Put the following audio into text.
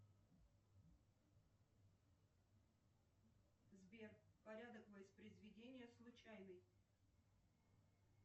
сбер порядок воспроизведения случайный